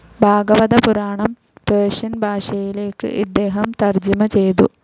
ഭാഗവത Puranam Persian ഭാഷയിലേക്ക് ഇദ്ദേഹം തർജിമ ചെയ്തു.